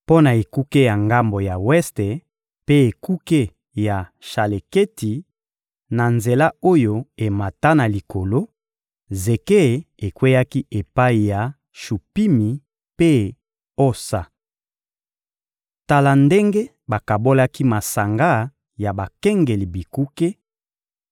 Mpo na ekuke ya ngambo ya weste mpe ekuke ya Shaleketi, na nzela oyo emata na likolo, zeke ekweyaki epai ya Shupimi mpe Osa. Tala ndenge bakabolaki masanga ya bakengeli bikuke: